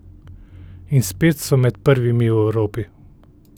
In spet so med prvimi v Evropi.